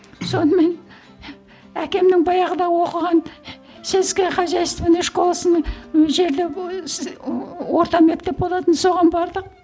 сонымен әкемнің баяғыда оқыған сельско хозяйственная школасының жерде орта мектеп болатын соған бардық